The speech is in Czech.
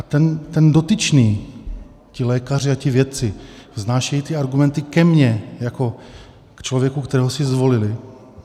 A ten dotyčný, ti lékaři a ti vědci vznášejí ty argumenty ke mně jako k člověku, kterého si zvolili.